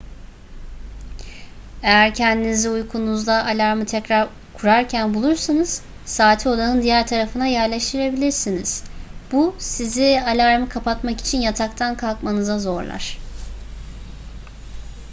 eğer kendinizi uykunuzda alarmı tekrar kurarken bulursanız saati odanın diğer tarafına yerleştirilebilirsiniz bu sizi alarmı kapatmak için yataktan kalkmanıza zorlar